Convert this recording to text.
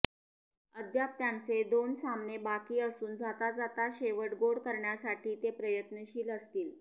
अद्याप त्यांचे दोन सामने बाकी असून जाता जाता शेवट गोड करण्यासाठी ते प्रयत्नशील असतील